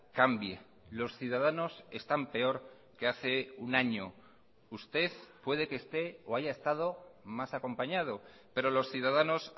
cambie los ciudadanos están peor que hace un año usted puede que esté o haya estado más acompañado pero los ciudadanos